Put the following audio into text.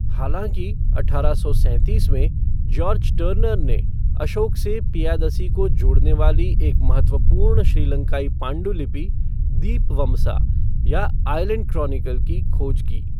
हालांकि, अठारह सौ सैंतीस में, जॉर्ज टर्नर ने अशोक से पियादसी को जोड़ने वाली एक महत्वपूर्ण श्रीलंकाई पांडुलिपि, दीपवमसा, या 'आइलेंड क्रॉनिकल' की खोज की।